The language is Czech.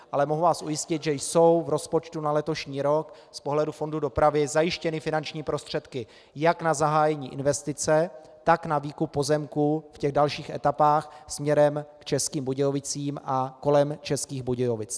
Ale mohu vás ujistit, že jsou v rozpočtu na letošní rok z pohledu fondu dopravy zajištěny finanční prostředky jak na zahájení investice, tak na výkup pozemků v těch dalších etapách směrem k Českým Budějovicím a kolem Českých Budějovic.